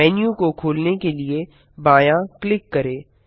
menu को खोलने के लिए बायाँ क्लिक करें